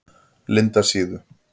Lindasíðu